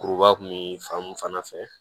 Kuruba kun bi fan mun fana fɛ